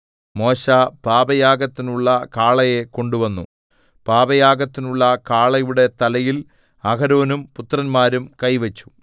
മോശെ പാപയാഗത്തിനുള്ള കാളയെ കൊണ്ടുവന്നു പാപയാഗത്തിനുള്ള കാളയുടെ തലയിൽ അഹരോനും പുത്രന്മാരും കൈവച്ചു